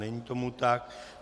Není tomu tak.